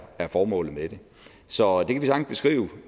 formålet med det så